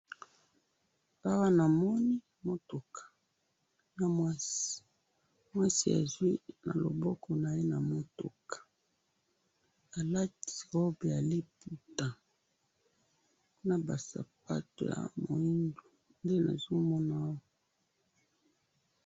awa namoni eza bana classe, naba professeurs na mudele moko basepeli mingi bana awa namoni bazui ma bulletins baza nama bulletins na maboko